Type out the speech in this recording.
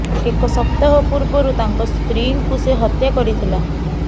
ଏକ ସପ୍ତାହ ପୂର୍ବରୁ ତାଙ୍କ ସ୍ତ୍ରୀଙ୍କୁ ସେ ହତ୍ୟା କରିଥିଲା